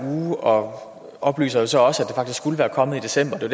uge og oplyser så også at det faktisk skulle være kommet i december det